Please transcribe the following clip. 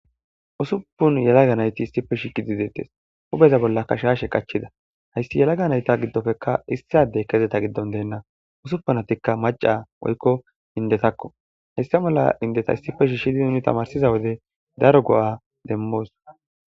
Ussupun yalaga nayti issiep shiiqidi deetes. huuphe bollaka shaashe qachida. Baysi yalaga nayta gidopekka issi addekka eeta gidon de'na . Usupunatikka maćća woykko indetakko. Heysa mala endeta issippe shiishidinne tamaarisida wode daro go'a demmos